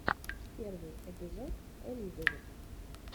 первый эпизод элизавет